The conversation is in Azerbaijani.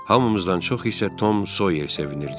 Hamımızdan çox isə Tom Sawyer sevinirdi.